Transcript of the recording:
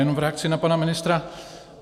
Jenom v reakci na pana ministra.